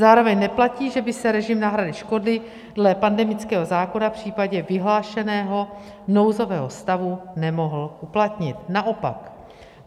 Zároveň neplatí, že by se režim náhrady škody dle pandemického zákona v případě vyhlášeného nouzového stavu nemohl uplatnit, naopak.